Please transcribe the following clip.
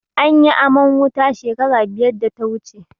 Anyi aman wuta shekara biyar da ta wuce.